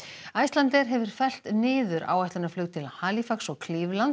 Icelandair hefur fellt niður áætlunarflug til Halifax og